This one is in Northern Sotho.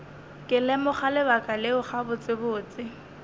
ke lemoga lebaka leo gabotsebotse